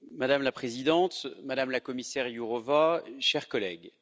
Madame la Présidente, Madame la Commissaire Jourová, chers collègues.